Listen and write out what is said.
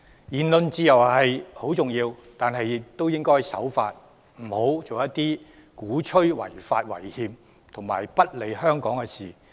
言論自由很重要，但學生亦應該守法，不應做出鼓吹違法違憲和不利香港的事情。